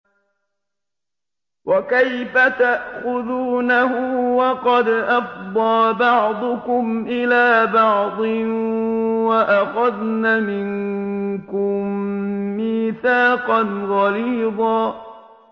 وَكَيْفَ تَأْخُذُونَهُ وَقَدْ أَفْضَىٰ بَعْضُكُمْ إِلَىٰ بَعْضٍ وَأَخَذْنَ مِنكُم مِّيثَاقًا غَلِيظًا